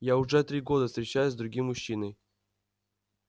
я уже три года встречаюсь с другим мужчиной